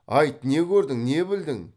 айт не көрдің не білдің